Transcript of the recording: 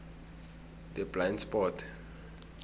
the blind spot